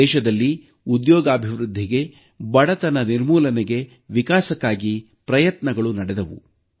ದೇಶದಲ್ಲಿ ಉದ್ಯೋಗಾಭಿವೃದ್ಧಿಗೆ ಬಡತನ ನಿರ್ಮೂಲನೆಗೆ ವಿಕಾಸಕ್ಕಾಗಿ ಪ್ರಯತ್ನಗಳು ನಡೆದವು